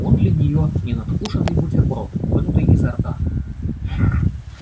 он для нее ненадкушенный бутерброд вынутый изо рта